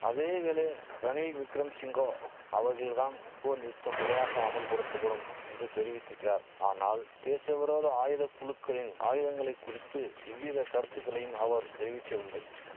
அதேவேளை ரணில் விக்கிரம சிங்கோ அவர்கள் தான் போர் நிறுத்தம் முறையாக அமுல்படுத்தபடும் என்று தெரிவித்திக்கிறார் ஆனால் தேசவிரோத ஆயுத குழுக்களின் ஆயுதங்களை குறித்து இவ்வித கருத்துகளையும் அவர் தெரிவிக்கவில்லை